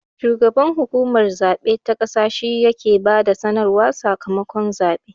Shugaban hukumar zabe ta ƙasa shi ya he ba da sanarwar sakamakon zaɓe